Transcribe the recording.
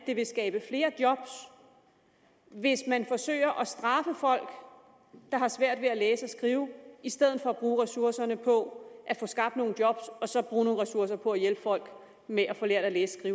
det vil skabe flere job hvis man forsøger at straffe folk der har svært ved at læse og skrive i stedet for at bruge ressourcerne på at få skabt nogle job og så bruge nogle ressourcer på at hjælpe folk med at få lært at læse